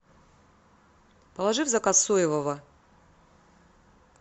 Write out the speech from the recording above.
положи в заказ соевого